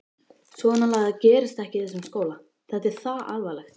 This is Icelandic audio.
Svonalagað gerist ekki í þessum skóla, þetta er það alvarlegt!